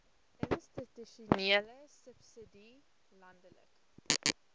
institusionele subsidie landelike